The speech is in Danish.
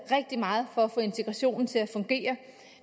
rigtig meget for at få integrationen til at fungere